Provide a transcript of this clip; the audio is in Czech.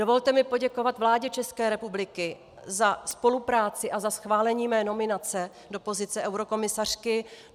Dovolte mi poděkovat vládě České republiky za spolupráci a za schválení mé nominace do pozice eurokomisařky.